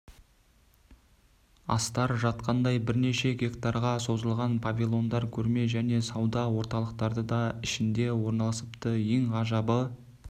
астар жатқандай бірнеше гектарға созылған павильондар көрме және сауда орталықтары да ішінде орналысыпты ең ғажабы